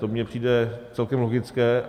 To mně přijde celkem logické.